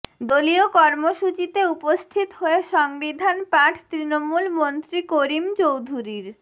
দলীয় কর্মসূচিতে উপস্থিত হয়ে সংবিধান পাঠ তৃণমূল মন্ত্রী করিম চৌধুরীর